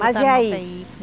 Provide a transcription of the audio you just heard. Mas e aí?